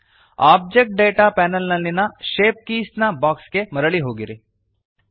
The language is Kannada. ಓಬ್ಜೆಕ್ಟ್ ಡೇಟಾ ಪ್ಯಾನಲ್ ನಲ್ಲಿಯ ಶೇಪ್ ಕೀಸ್ ನ ಬಾಕ್ಸ್ ಗೆ ಮರಳಿ ಹೋಗಿರಿ